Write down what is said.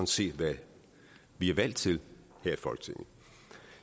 set hvad vi er valgt til her i folketinget